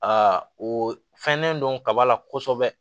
Aa o fɛnnen don kaba la kosɛbɛ